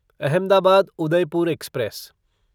Ahmedabad Udaipur express